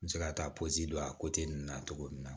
N bɛ se ka taa pɔsi don a ninnu na cogo min na